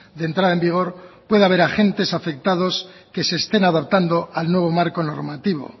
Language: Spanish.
de entrada en vigor pueda haber agentes afectados que se estén adaptando al nuevo marco normativo